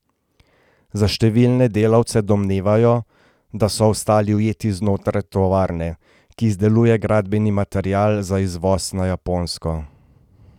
Za številne delavce domnevajo, da so ostali ujeti znotraj tovarne, ki izdeluje gradbeni material za izvoz na Japonsko.